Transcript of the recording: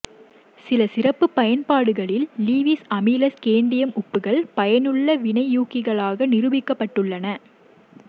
சில சிறப்பு பயன்பாடுகளில் லீவிஸ் அமில ஸ்கேண்டியம் உப்புக்கள் பயனுள்ள வினையூக்கிகளாக நிரூபிக்கப்பட்டுள்ளன